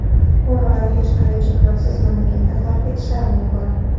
Fuqarolar hech qanday cheklovsiz mamlakatni tark etishlari mumkin.